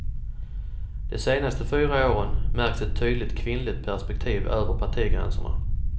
De senaste fyra åren märks ett tydligt kvinnligt perspektiv över partigränserna.